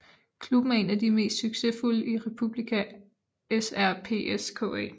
Klubben er en af de mest succesfulde i Republika Srpska